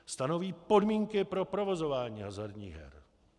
Stanoví podmínky pro provozování hazardních her.